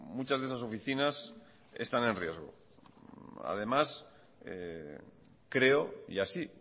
muchas de esas oficinas están en riesgo además creo y así